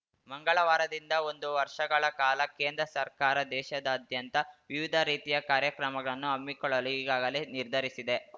ಮಂಗಳವಾರದಿಂದ ಒಂದು ವರ್ಷಗಳ ಕಾಲ ಕೇಂದ್ರ ಸರ್ಕಾರ ದೇಶಾದಾದ್ಯಂತ ವಿವಿಧ ರೀತಿಯ ಕಾರ್ಯಕ್ರಮಗಳನ್ನು ಹಮ್ಮಿಕೊಳ್ಳಲು ಈಗಾಗಲೇ ನಿರ್ಧರಿಸಿದೆ